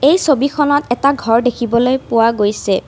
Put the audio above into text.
এই ছবিখনত এটা ঘৰ দেখিবলৈ পোৱা গৈছে।